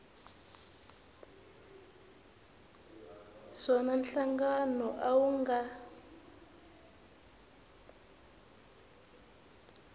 swona nhlangano a wu nga